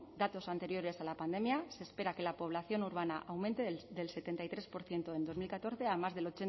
datos anteriores a la pandemia se espera que la población urbana aumente del setenta y tres por ciento en dos mil catorce a más del